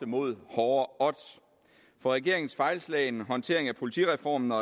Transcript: mod hårde odds for regeringens fejlslagne håndtering af politireformen og